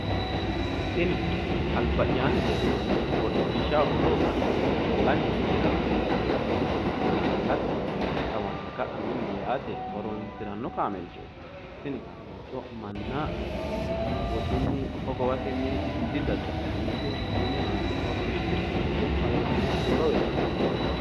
Tini alba’yaanni leeltannoti hodhishshaho horo uuyitannoti hallanyu uisiranna minisi maate callate kawanna ka’a milli yaate horoonsiranno kaameelchooti. Tini kaameelcho manna woxunni hogowatenni didadda’linannite mini maate horoonsidhannote. hallanyaho horo uyitannote.